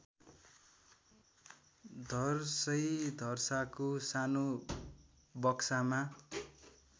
धर्सैधर्साको सानो बक्सामा